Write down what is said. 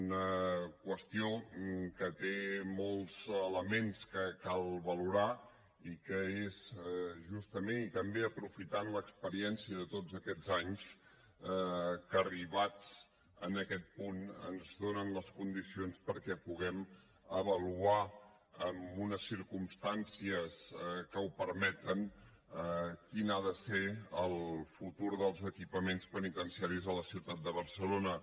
una qüestió que té molts elements que cal valorar i que és justament i també aprofitant l’experiència de tots aquests anys que arribats a aquest punt ens donen les condicions perquè puguem avaluar en unes circumstàncies que ho permeten quin ha de ser el futur dels equipaments penitenciaris a la ciutat de barcelona